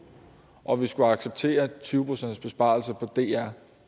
og vi skulle acceptere en tyve procentsbesparelse på dr